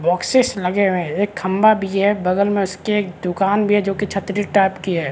Boxes लगे हुए है एक खम्भा भी है बगल में उसके दुकान भी है जो की छतरी टाइप की है।